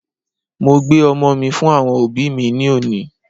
Mo gbé ọmọ mí fún àwọn òbí mí ní òní